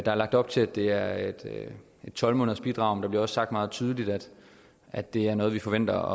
er lagt op til at det er et tolv månedersbidrag men det bliver også sagt meget tydeligt at det er noget vi forventer